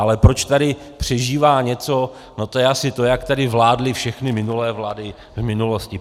Ale proč tady přežívá něco, no to je asi to, jak tady vládly všechny minulé vlády v minulosti.